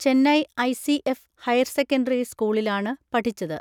Chennai ICF higher secondary സ്കൂളിലാണ് പഠിച്ചത്.